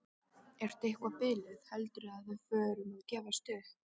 Ertu eitthvað biluð. heldurðu að við förum að gefast upp!